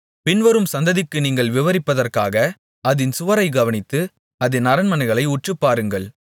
பின்வரும் சந்ததிக்கு நீங்கள் விவரிப்பதற்காக அதின் சுவரை கவனித்து அதின் அரண்மனைகளை உற்றுப்பாருங்கள்